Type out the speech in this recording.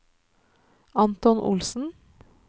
Anton Olsen